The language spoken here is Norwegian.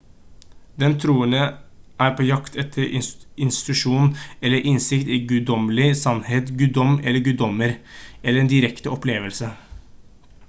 den troende er på jakt etter intuisjon eller innsikt i guddommelig sannhet / guddom eller guddommer eller en direkte opplevelse